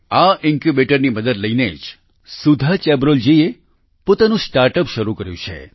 આ ઈન્ક્યૂબેટરની મદદ લઈને જ સુધા ચેબ્રોલૂ જીએ પોતાનું સ્ટાર્ટઅપ શરૂ કર્યું છે